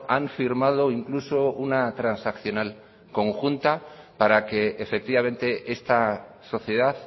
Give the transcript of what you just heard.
han firmado incluso una transaccional conjunta para que efectivamente esta sociedad